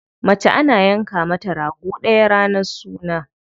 Mace ana yanka mata rago ɗaya ranar suna.